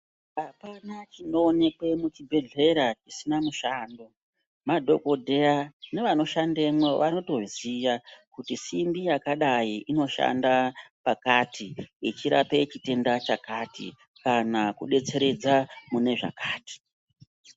Apana chinoonekwe muchibhedhlera chisina mushando madhokodheya nevanoshandemwo vanotoziya kuti simbi yakadai inoshandei pakati ichirape chitenda chakati kana kudetseredza mune zvakati.